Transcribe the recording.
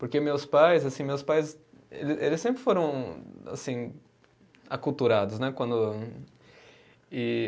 Porque meus pais, assim, meus pais, eles eles sempre foram, assim, aculturados, né? Quando, e